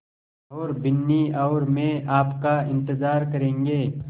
और बिन्नी और मैं आपका इन्तज़ार करेंगे